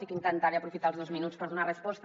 i intentaré aprofitar els dos minuts per donar resposta